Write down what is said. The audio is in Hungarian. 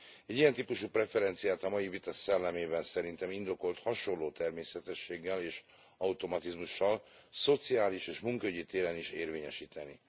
Egy ilyen típusú preferenciát a mai vita szellemében szerintem indokolt hasonló természetességgel és automatizmussal szociális és munkaügyi téren is érvényesíteni.